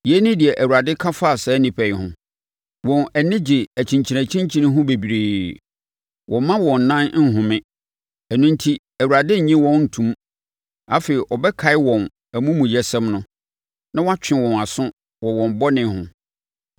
Yei ne deɛ Awurade ka fa saa nnipa yi ho: “Wɔn ani gye akyinkyinakyinkyini ho bebree; wɔmma wɔn nan nhome. Ɛno enti Awurade nnye wɔn nto mu; afei ɔbɛkae wɔn amumuyɛsɛm no na watwe wɔn aso wɔ wɔn bɔne ho.”